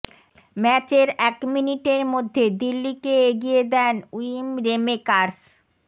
ম্যাচের এক মিনিটের মধ্যে দিল্লিকে এগিয়ে দেন উইম রেমেকার্স